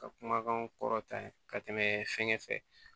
Ka kumakanw kɔrɔtan ka tɛmɛ fɛnkɛ fɛ